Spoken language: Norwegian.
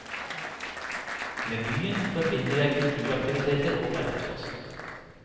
Med byen forbinder jeg kulturaktiviteter og arbeidsplasser.